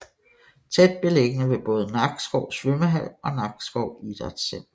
Tæt beliggende ved både Nakskov Svømmehal og Nakskov Idrætscenter